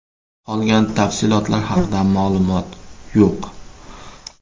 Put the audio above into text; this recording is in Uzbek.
Qolgan tafsilotlar haqida ma’lumot yo‘q.